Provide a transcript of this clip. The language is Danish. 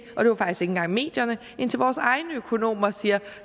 engang medierne indtil vores egne økonomer siger